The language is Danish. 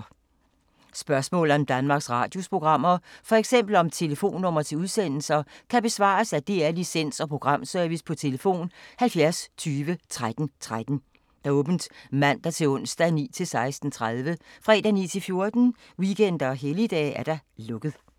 Spørgsmål om Danmarks Radios programmer, f.eks. om telefonnumre til udsendelser, kan besvares af DR Licens- og Programservice: tlf. 70 20 13 13, åbent mandag-torsdag 9.00-16.30, fredag 9.00-14.00, weekender og helligdage: lukket.